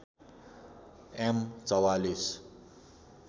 am ४४